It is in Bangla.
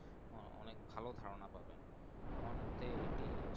অনেক ভালো ধার না পাবেন আমার মতেই এটি হচ্ছে।